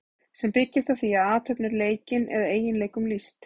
sem byggjast á því að athöfn er leikin eða eiginleikum lýst